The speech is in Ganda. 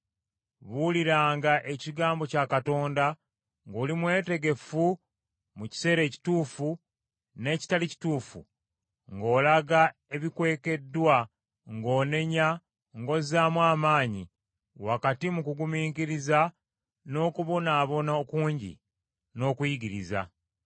buuliranga ekigambo kya Katonda, ng’oli mwetegefu mu kiseera ekituufu n’ekitali kituufu, ng’olaga ebikwekeddwa, ng’onenya, ng’ozaamu amaanyi, wakati mu kugumiikiriza, n’okubonaabona okungi, n’okuyigiriza.